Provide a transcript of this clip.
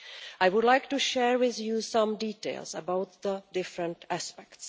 I would like to share with you some details about the different aspects.